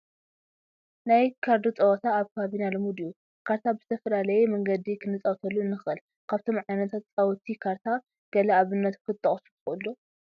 ናይ ካርዲ ፀወታ ኣብ ከባቢና ልሙድ እዩ፡፡ ካርታ ብዝተፈላለየ መንገዲ ክንፃወተሉ ንኽእል፡፡ ካብቶም ዓይነታት ፃውቲ ካርታ ገለ ኣብነታት ክትጠቕሱ ትኽእሉ ዶ?